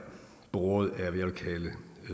båret af hvad jeg vil kalde